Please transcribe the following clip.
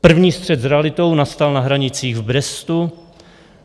První střet s realitou nastal na hranicích v Brestu.